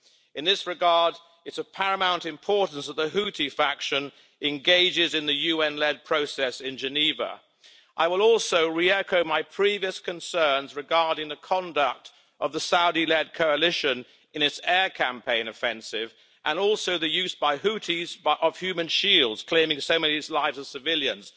In this regard, it is of paramount importance that the Houthi faction engages in the UN-led process in Geneva. I will also re-echo my previous concerns regarding the conduct of the Saudi-led coalition in its air campaign offensive and also the use by Houthis of human shields, claiming so many lives of civilians.